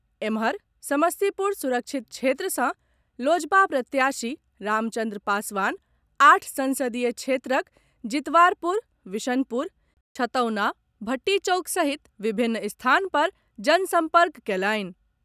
एम्हर, समस्तीपुर सुरक्षित क्षेत्र सॅ लोजपा प्रत्याशी रामचन्द्र पासवान आठ संसदीय क्षेत्रक जितवारपुर, विशनपुर, छतौना, भट्टी चौक सहित विभिन्न स्थान पर जनसंपर्क कएलनि।